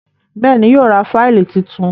Béèni yíò rá Fáìlì títún.